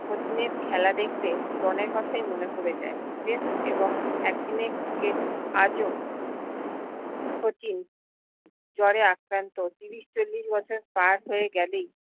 শচীনের খেলা দেখতে ড্রনের কথাই মনে পরে যায় tast এবং এক দিনের ক্রিকেট আজও শচীন জ্বরে আক্রান্ত ত্রিশ চল্লিশ বছর পার হয়ে গেলেই